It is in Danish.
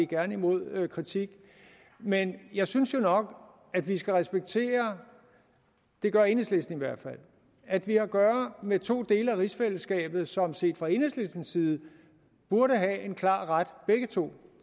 gerne imod kritik men jeg synes jo nok at vi skal respektere det gør enhedslisten i hvert fald at vi har at gøre med to dele af rigsfællesskabet som set fra enhedslistens side burde have en klar ret begge to